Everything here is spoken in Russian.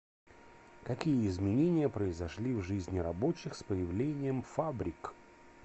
какие изменения произошли в жизни рабочих с появлением фабрик